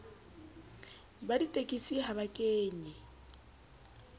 ba ditekesi ha ba kenye